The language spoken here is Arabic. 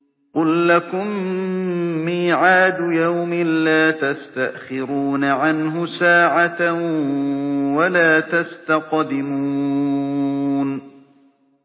قُل لَّكُم مِّيعَادُ يَوْمٍ لَّا تَسْتَأْخِرُونَ عَنْهُ سَاعَةً وَلَا تَسْتَقْدِمُونَ